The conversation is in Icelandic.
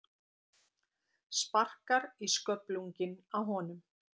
Sparkar í sköflunginn á honum.